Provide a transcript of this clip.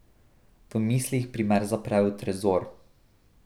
V mislih primer zapre v trezor.